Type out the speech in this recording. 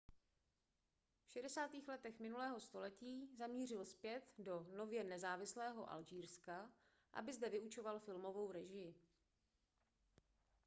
v 60. letech minulého století zamířil zpět do nově nezávislého alžírska aby zde vyučoval filmovou režii